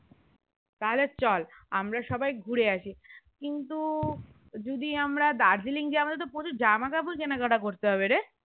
তাহলে চল আমরা সবাই ঘুরে আসি কিন্তু যদি আমরা দার্জিলিং যায় আমার তো প্রচুর জামা কাপড় কিনা কাটা করতে হবেরে